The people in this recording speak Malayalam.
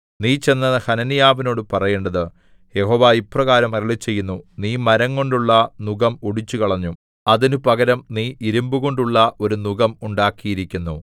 നീ ചെന്ന് ഹനന്യാവിനോടു പറയേണ്ടത് യഹോവ ഇപ്രകാരം അരുളിച്ചെയ്യുന്നു നീ മരംകൊണ്ടുള്ള നുകം ഒടിച്ചുകളഞ്ഞു അതിന് പകരം നീ ഇരിമ്പുകൊണ്ടുള്ള ഒരു നുകം ഉണ്ടാക്കിയിരിക്കുന്നു